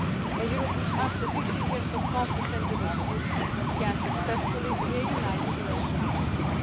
and human rights. A Europe which, after 50 years of conflict and division, has successfully reunited